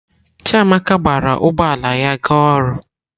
Chiamaka gbara ụgbọ ala ya ga ọrụ.